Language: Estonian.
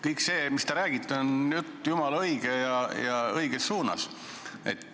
Kõik see, mis te räägite, on jumala õige ja õiges suunas.